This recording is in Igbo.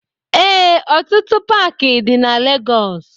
Ee, ọtụtụ Paaki dị na Legọs.